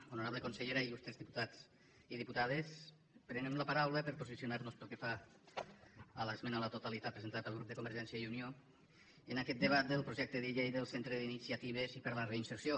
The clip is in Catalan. honorable consellera il·lustre diputats i diputades prenem la paraula per posicionarnos pel que fa a l’esmena a la totalitat presentada pel grup de convergència i unió en aquest debat del projecte de llei del centre d’iniciatives per a la reinserció